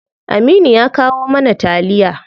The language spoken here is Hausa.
Aminu ya kawo mana taliya.